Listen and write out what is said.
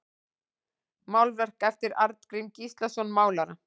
Málverk eftir Arngrím Gíslason málara